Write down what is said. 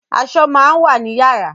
Aṣọ máa ń wà ni yàrá